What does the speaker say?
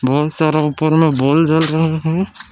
बहुत सारा ऊपर में बल्ब जल रहे हैं।